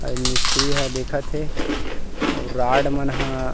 अ इन मिस्त्री ह देखत हे अउ रॉड मनह --